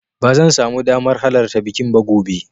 Ba zan samu damar halarta bikin ba gobe.